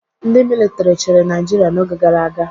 Ndị militri chịrị Naịjirịa n'oge gara aga